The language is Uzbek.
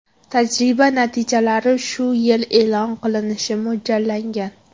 Tajriba natijalari shu yil e’lon qilinishi mo‘ljallangan.